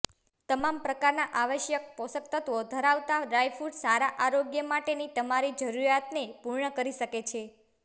તમામ પ્રકારના આવશ્યક પોષકતત્વો ધરાવતા ડ્રાઇફ્રુટ સારા આરોગ્ય માટેની તમારી જરૂરિયાતને પૂર્ણ કરી શકે છે